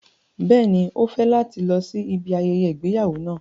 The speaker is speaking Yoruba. Bẹ́ẹ̀ni, o fẹ lati lọ si ibi ayẹyẹ igbeyawo náà